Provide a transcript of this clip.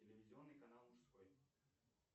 телевизионный канал мужской